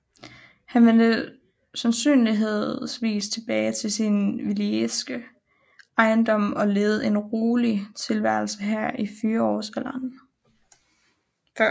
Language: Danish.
Han vendte sandsynligvis tilbage til sin walisiske ejendom og levede en rolig tilværelse her i fyrreårsalderen